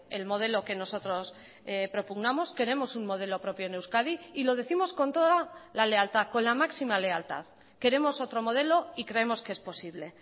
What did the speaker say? el modelo que nosotros propugnamos queremos un modelo propio en euskadi y lo décimos con toda la lealtad con la máxima lealtad queremos otro modelo y creemos que es posible